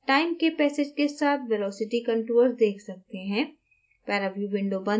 हम time के passage के साथ velocity contours देख सकते हैं